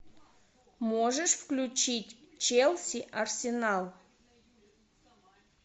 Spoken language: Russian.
можешь включить челси арсенал